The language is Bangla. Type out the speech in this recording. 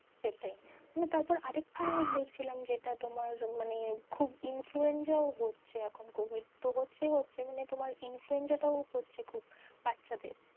সেটাই না তারপর আরেকটা আমি news দেখছিলাম যেটা তোমার মানে খুব influenza ও হচ্ছে এখন covid তো হচ্ছে ই হচ্ছে মানে তোমার influenza টাও হচ্ছে খুব বাচ্চা দের।